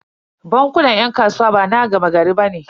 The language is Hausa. Bankunan 'yan kasuwa bana gama gari bane.